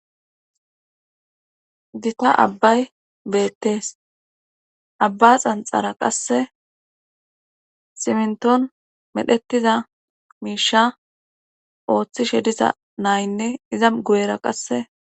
Dita abbay beettees abba xanxara qasse simnton medhetiza miisha ooththishe disa naynne iza gu7era qasse.